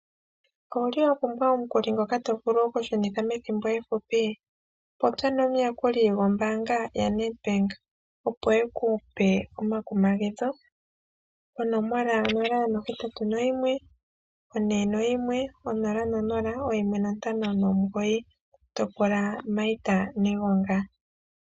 Owuli wa pumbwa omukuli ngoka to vulu oku shunitha methimbo efupi? Popya no muyakuli gwombaanga yaNedbank opo eku pe omakumagidho. Onomola nola nohetatu noyimwe, one noyimwe, onola nonola, oyimwe nontano nomugoyi , to pula Maita Negonga.